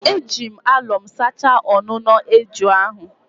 Eji m alọm sachaa ọnụnọ na eju ahụ